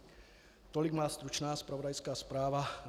Tolik má stručná zpravodajská zpráva.